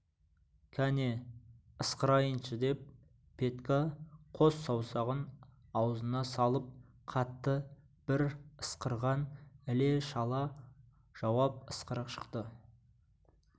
кәне ысқырайыншы деп петька қос саусағын аузына салып қатты бір ысқырған іле-шала жауап ысқырық шықты